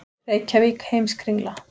Reykjavík, Heimskringla.